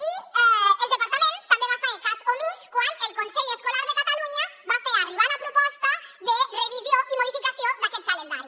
i el departament també en va fer cas omís quan el consell escolar de catalunya va fer arribar la proposta de revisió i modificació d’aquest calendari